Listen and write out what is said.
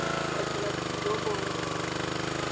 wa di dira le dinomoro